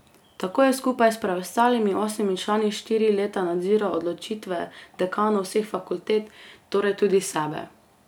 Tako je skupaj s preostalimi osmimi člani štiri leta nadziral odločitve dekanov vseh fakultet, torej tudi sebe.